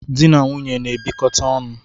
Dị na nwunye na-ebikote onu